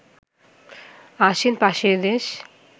আসেন পাশের দেশ